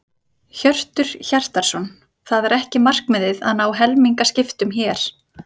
Hjörtur Hjartarson: Það er ekki markmiðið að ná helmingaskiptum hér?